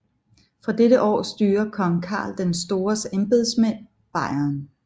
Fra dette år styrer kong Karl den Stores embedsmænd Baiern